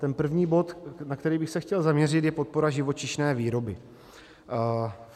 Ten první bod, na který bych se chtěl zaměřit, je podpora živočišné výroby.